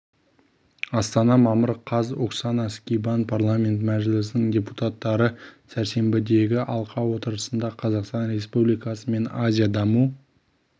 астана мамыр қаз оксана скибан парламент мәжілісінің депутаттары сәрсенбідегі алқа отырысында қазақстан республикасы мен азия даму